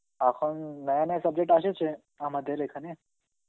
এখন Hindi subject আসেছে আমাদের এখানে